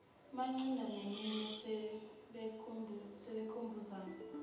bencinda neminwe sebekhumbuzana